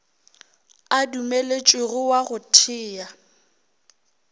a dumeletšwego wa go thea